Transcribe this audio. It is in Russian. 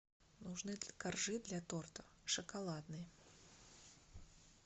нужны коржи для торта шоколадные